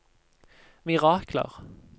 mirakler